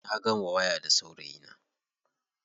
Na gama waya da saurayina.